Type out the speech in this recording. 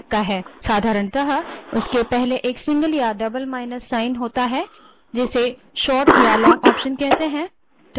साधारणतः उनके पहले एक single या double माइनस चिन्ह होता है जिसे short या long option कहते हैं